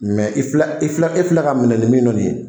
Mɛ i filɛ i filɛ e filɛ ka minɛ ni min ye nin ye